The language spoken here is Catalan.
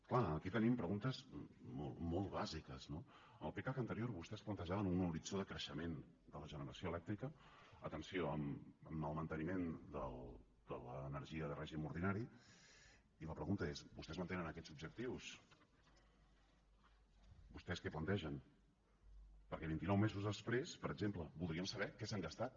clar aquí tenim preguntes molt bàsiques no en el pecac anterior vostès plantejaven un horitzó de creixement de la generació elèctrica atenció amb el manteniment de l’energia de règim ordinari i la pregunta és vostès mantenen aquests objectius vostès què plantegen perquè vintinou mesos després per exemple voldríem saber què s’han gastat